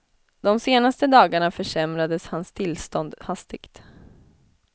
De senaste dagarna försämrades hans tillstånd hastigt.